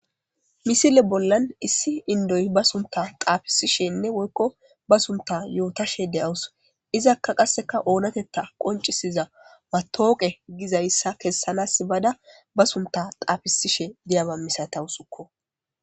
Misile bollan issi indoy ba sunta xaafisishenne woykko ba sunta yootashe de'awus izakka qasseka oonatetta qoncisiza matooqe gizayssa kessanas ibada ba sunta xaafisishe diyama misatawusukko.